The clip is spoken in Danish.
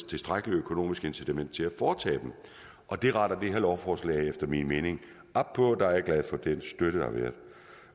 tilstrækkelig økonomisk incitament til at foretage dem og det retter det her lovforslag efter min mening op på der er jeg glad for den støtte der har været